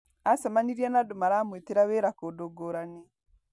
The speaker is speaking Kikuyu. Acemanirie na andũ maramwĩtĩra wĩra kũndũ ngũrani.